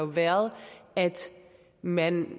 været at man